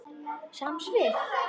Sama svið.